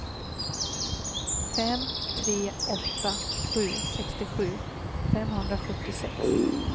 fem tre åtta sju sextiosju femhundrasjuttiosex